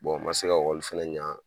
n ma se ka ekɔli fɛnɛ ɲɛ